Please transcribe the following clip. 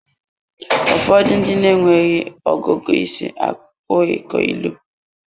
Ụfọdụ ndị na-enweghị ọgụgụ isi apụghị ịkọ ilu.